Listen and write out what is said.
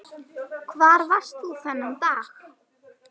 Hvar varst þú þennan dag?